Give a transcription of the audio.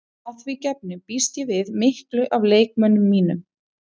Að því gefnu býst ég við miklu af leikmönnum mínum.